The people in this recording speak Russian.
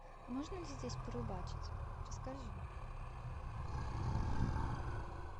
можно ли здесь порыбачить расскажи